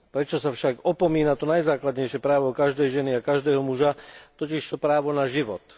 Prečo sa však opomína to najzákladnejšie právo každej ženy a každého muža, totižto právo na život.